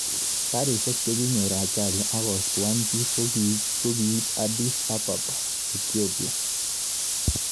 Garishek chekinyor ajali akostuan piik kokikiip Addis Ababa Ethiopia